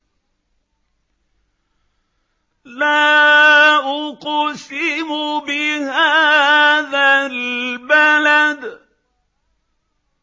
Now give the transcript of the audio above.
لَا أُقْسِمُ بِهَٰذَا الْبَلَدِ